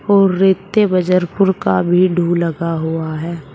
और रेते बजर पुर का भी ढु लगा हुआ है।